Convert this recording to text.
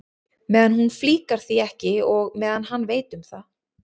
Meðan hún flíkar því ekki og meðan hann veit um það.